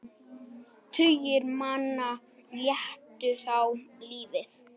Tugir manna létu þá lífið.